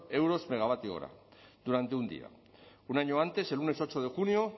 euros megavatio hora durante un día un año antes el lunes ocho de junio